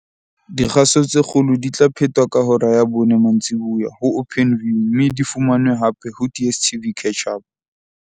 Dikgaso tse kgolo di tla phetwa ka hora ya bone mantsibuya ho Openview mme di fumanwe hape ho DSTV Catch-Up.